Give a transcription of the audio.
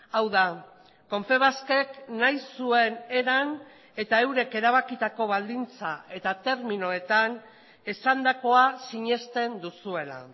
hau da confebaskek nahi zuen eran eta eurek erabakitako baldintza eta terminoetan esandakoa sinesten duzuela